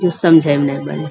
कुछ समझै म नै बनै।